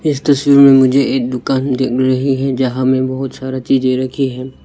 इस तस्वीर में मुझे दुकान दिख रही है जहां में बहुत सारे चीजें रखी हुई है।